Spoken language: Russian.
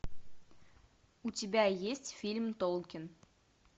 у тебя есть фильм толкин